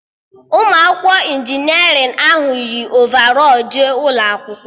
Ụmụ akwụkwọ injinerịn ahụ yi ovarọl jee ụlọ akwụkwọ